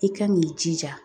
I kan k'i jija.